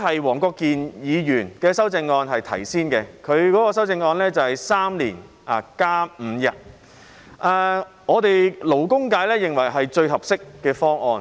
黃國健議員的修正案是在3年內增加5天假期，由於他先提出修正案，勞工界認為是最合適的方案。